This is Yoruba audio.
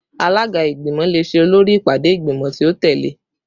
Alaga igbimọ le ṣe olori ipade igbimọ ti o tẹle